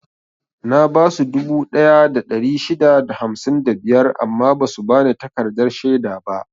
Na basu dubu ɗaya da ɗari shida da hamsin da biyar amma basu bani takardar shaida ba.